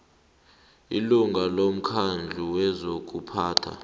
ilunga lomkhandlu wezokuphatha